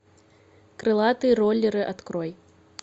крылатые роллеры открой